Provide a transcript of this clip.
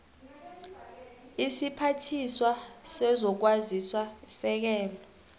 isiphathiswa sezokwazisa isekela